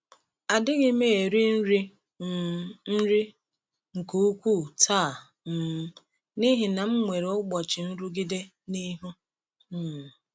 Adịghị m eri um nri nke ukwuu taa um n’ihi na m nwere ụbọchị nrụgide n’ihu. um